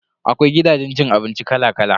Akwai gidajen cin abinci kala kala.